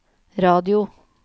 radio